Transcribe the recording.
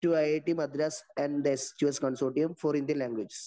ഇട്ട്‌ മദ്രാസ്‌ ആൻഡ്‌ സ്‌2സ്‌ consortium for Indian languages.